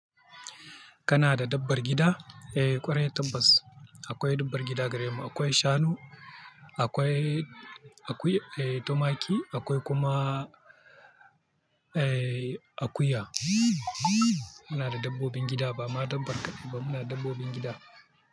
Kana da dabbar gida? Eh, ƙwarai tabbas akwai dabbar gida gare mu. Akwai shanu, akwai, akwai tumaki, akwai kuma akuya. Muna da dabbobin gida ba ma dabbar ba, muna da dabbobin gida.